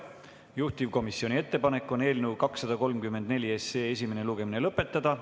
Juhtivkomisjoni ettepanek on eelnõu 234 esimene lugemine lõpetada.